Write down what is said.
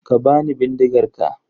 Ka bani bindigar ka.